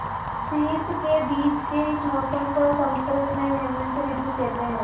शीत के बीच के इस मौसम को संस्कृत में हेमंत ॠतु कहते हैं